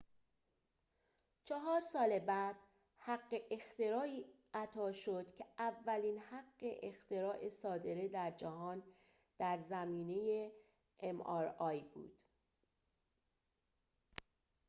چهار سال بعد حق اختراعی اعطا شد که اولین حق اختراع صادره در جهان در زمینه ام‌آرآی بود